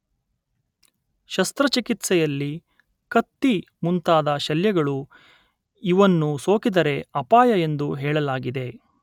ಶಸ್ತ್ರ ಚಿಕಿತ್ಸೆಯಲ್ಲಿ ಕತ್ತಿ ಮುಂತಾದ ಶಲ್ಯಗಳು ಇವನ್ನು ಸೋಕಿದರೆ ಅಪಾಯ ಎಂದು ಹೇಳಲಾಗಿದೆ.